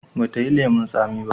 ba ta yi lemun tsamiya ba?